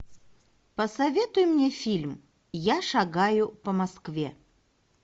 посоветуй мне фильм я шагаю по москве